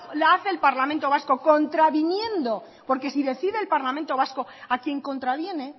la hace el parlamento vasco contraviniendo porque si decide el parlamento vasco a quien contraviene